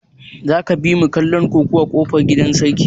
Za ka bimu kallon kokuwar kofar gidan sarki?